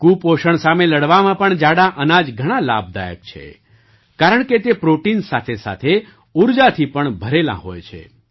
કુપોષણ સામે લડવામાં પણ જાડાં અનાજ ઘણાં લાભદાયક છે કારણકે તે પ્રૉટીન સાથેસાથે ઊર્જાથી પણ ભરેલાં હોય છે